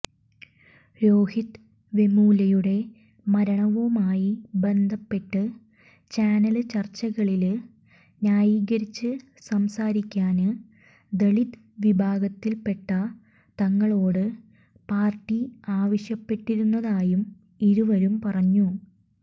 രോഹിത് വെമുലയുടെ മരണവുമായി ബന്ധപ്പെട്ട് ചാനല് ചര്ച്ചകളില് ന്യായീകരിച്ച് സംസാരിക്കാന് ദലിത് വിഭാഗത്തില്പ്പെട്ട തങ്ങളോട് പാര്ട്ടി ആവശ്യപ്പെട്ടിരുന്നതായും ഇരുവരും പറഞ്ഞു